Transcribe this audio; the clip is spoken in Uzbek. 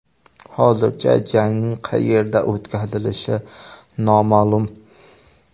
Hozircha jangning qayerda o‘tkazilishi noma’lum.